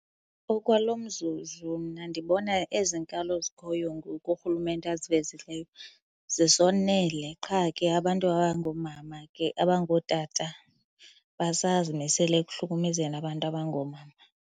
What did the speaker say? Okwalo mzuzu mna ndibona ezinkalo zikhoyo ngoku uRhulumente azivezileyo zisonele, qha ke abantu abangoomama ke, abangootata basazimisele ekuhlukumezeni abantu abangoomama.